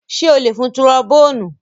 Ṣé ó lè fun turobóònù?